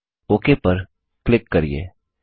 okay पर click करिये